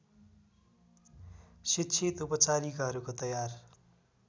शिक्षित उपचारिकाहरूको तयार